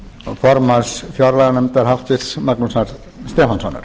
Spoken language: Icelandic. formanns fjárlaganefndar háttvirtur magnúsar stefánssonar